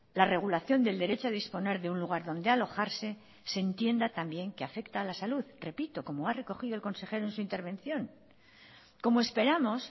la regulación del derecho a disponer de un lugar donde alojarse se entienda también que afecta a la salud repito como ha recogido el consejero en su intervención como esperamos